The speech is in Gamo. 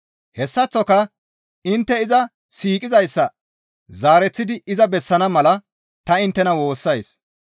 Hessaththoka intte iza siiqizayssa zaareththidi iza bessana mala ta inttena woossays.